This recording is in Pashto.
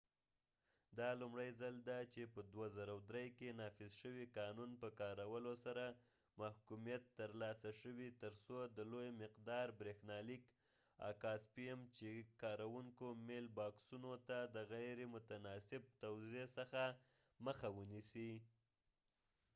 دا لومړی ځل دی چې په 2003 کې نافذ شوي قانون په کارولو سره محکومیت ترلاسه شوی ترڅو د لوی مقدار بریښنالیک اکا سپیم چې کاروونکو میل باکسونو ته د غیر متناسب توزیع څخه مخه ونیسي